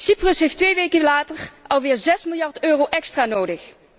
Cyprus heeft twee weken later alweer zes miljard euro extra nodig.